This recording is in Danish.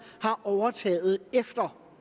har overtaget efter